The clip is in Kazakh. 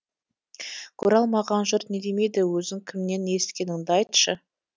көре алмаған жұрт не демейді өзің кімнен есіткеніңді айтшы